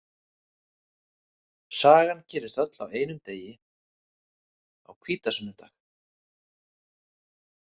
Sagan gerist öll á einum degi, á hvítasunnudag .